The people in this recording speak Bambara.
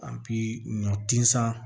A bi ɲɔ tin san